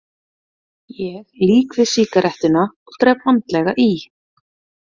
Ég lýk við sígarettuna og drep vandlega í.